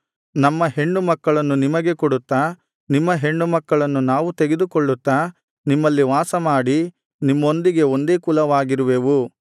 ನಮ್ಮ ಹೆಣ್ಣುಮಕ್ಕಳನ್ನು ನಿಮಗೆ ಕೊಡುತ್ತಾ ನಿಮ್ಮ ಹೆಣ್ಣುಮಕ್ಕಳನ್ನು ನಾವು ತೆಗೆದುಕೊಳ್ಳುತ್ತಾ ನಿಮ್ಮಲ್ಲಿ ವಾಸಮಾಡಿ ನಿಮ್ಮೊಂದಿಗೆ ಒಂದೇ ಕುಲವಾಗಿರುವೆವು